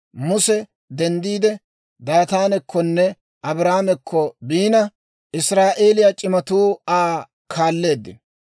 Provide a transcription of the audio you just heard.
Muse denddiide, Daataanekkonne Abiiraamekko biina, Israa'eeliyaa c'imatuu Aa kaalleeddino.